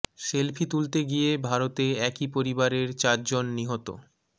selfie তুলতে গিয়ে ভারতে একই পরিবারের চার জন নিহত